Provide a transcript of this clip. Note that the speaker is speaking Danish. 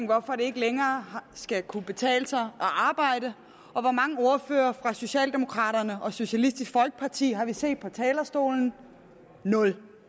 hvorfor det ikke længere skal kunne betale sig at arbejde og hvor mange ordførere fra socialdemokraterne og socialistisk folkeparti har vi set på talerstolen nul